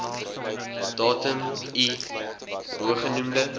datum i bogenoemde